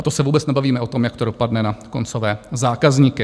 A to se vůbec nebavíme o tom, jak to dopadne na koncové zákazníky.